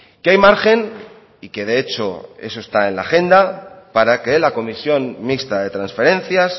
que hay margen y que de hecho eso está en la agenda para que la comisión mixta de transferencias